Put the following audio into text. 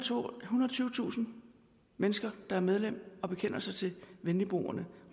tyvetusind mennesker der er medlem og bekender sig til venligboerne